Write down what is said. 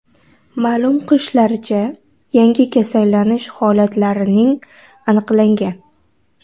Ma’lum qilishlaricha, yangi kasallanish holatlarining aniqlangan.